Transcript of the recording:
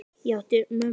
Ég átti mömmu.